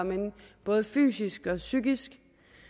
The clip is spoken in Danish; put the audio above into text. både fysisk og psykisk